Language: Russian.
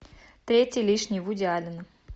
третий лишний вуди аллена